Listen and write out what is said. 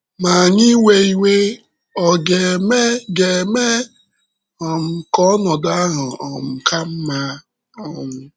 Ma anyị iwe iwe ọ̀ ga - eme ga - eme um ka ọnọdụ ahụ um ka mma? um